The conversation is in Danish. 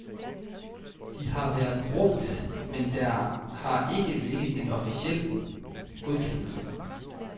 De har været brugt, men der har ikke ligget en officiel godkendelse.